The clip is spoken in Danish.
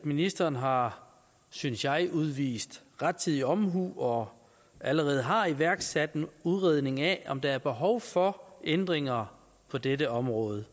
at ministeren har synes jeg udvist rettidig omhu og allerede har iværksat en udredning af om der er behov for ændringer på dette område